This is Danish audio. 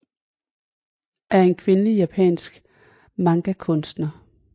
er en kvindelig japansk manga kunstner